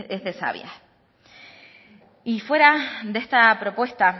es de sabias y fuera de esta propuesta